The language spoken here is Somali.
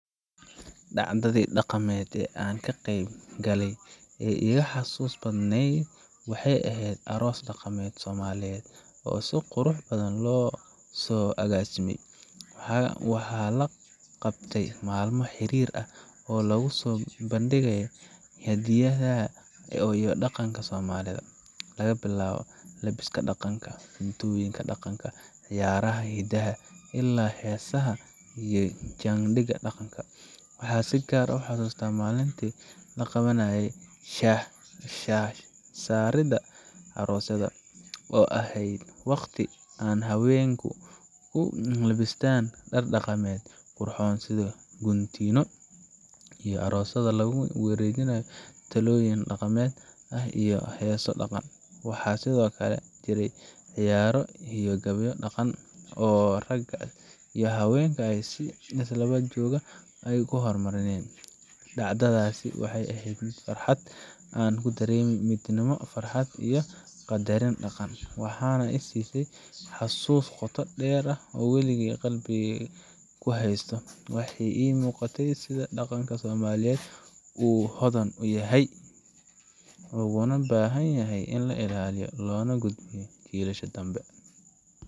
Dhacdadii dhaqameed ee aan ka qayb galay ee iiga xasuusta badnayd waxay ahayd aroos dhaqameed Soomaaliyeed oo si qurux badan loo soo agaasimay. Waxaa la qabtay maalmo xiriir ah oo lagu soo bandhigayay hidaha iyo dhaqanka Soomaalida laga bilaabo labiska dhaqanka, cuntooyinka dhaqanka ah, ciyaaraha hidaha, ilaa heesaha iyo jaandiga dhaqanka. Waxaan si gaar ah u xasuustaa maalintii la qabanayey shaash saaridda aroosadda, oo ahayd waqti ay haweenku ku labbistaan dhar dhaqameed qurxoon sida guntiino, iyo aroosadda lagu wareejinayay tallooyin dhaqameed ah iyo heeso dhaqan ah. Waxaa sidoo kale jiray ciyaaro iyo gabayo dhaqan oo ragga iyo haweenka ay si isdaba joog ah u marinayeen. Dhacdadaasi waxay ahayd fursad aan ku dareemay midnimo, farxad iyo qadarin dhaqan, waxayna i siisay xasuus qoto dheer oo aan wali qalbigeyga ku haysto. Waxa ii muuqatay sida dhaqanka Soomaaliyeed uu u hodan yahay, uguna baahan yahay in la ilaaliyo loona gudbiyo jiilasha dambe.